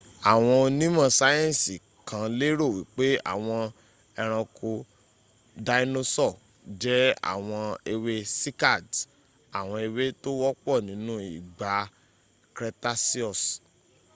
àwọn onímò sayensi kan lérò wípé àwọn ẹronko dáínósọ̀ jẹ àwọn ẹwẹ́ cycads àwọn ẹwẹ́ tó wọ́pọ̀ nínú ìgbà cretaceous